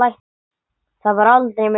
Það var aldrei myrkur.